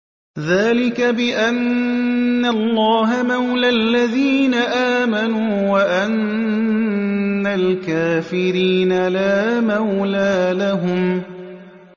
ذَٰلِكَ بِأَنَّ اللَّهَ مَوْلَى الَّذِينَ آمَنُوا وَأَنَّ الْكَافِرِينَ لَا مَوْلَىٰ لَهُمْ